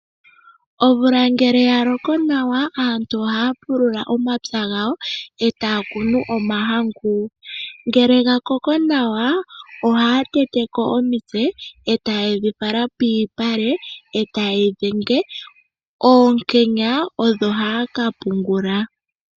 Omvula ngele ya loko nawa, aantu ohaya pulula omapya gawo, etaya kunu omahangu, ngele gakoko nawa ohaya teteko omitse etate dhi fala piipale, etaye yi dhenge, oonkenya odho haya ka pungula.